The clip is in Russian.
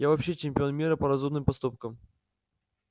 я вообще чемпион мира по разумным поступкам